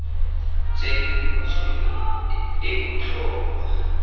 tse di butsweng e botlhokwa